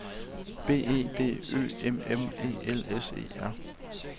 B E D Ø M M E L S E R